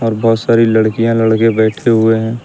बहोत सारी लड़कियां लड़के बैठे हुए हैं।